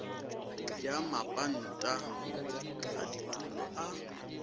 ya mapanta a ditulo a